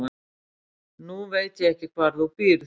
Nú veit ég ekki hvar þú býrð